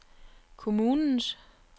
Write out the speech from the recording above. kommunens